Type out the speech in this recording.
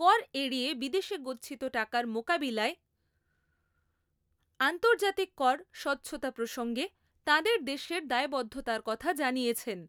কর এড়িয়ে বিদেশে গচ্ছিত টাকার মোকাবিলায় আন্তর্জাতিক কর স্বচ্ছতা প্রসঙ্গে তাঁদের দেশের দায়বদ্ধতার কথা জানিয়েছেন।